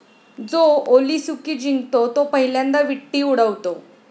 जो ओलीसुकी जिंकतो तो पहिल्यांदा विट्टी उडवतो.